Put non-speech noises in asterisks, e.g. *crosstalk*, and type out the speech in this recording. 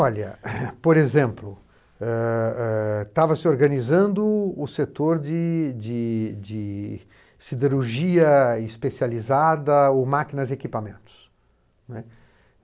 Olha, *coughs* por exemplo, ãh ãh estava se organizando o setor de de de siderurgia especializada ou máquinas e equipamentos, não é.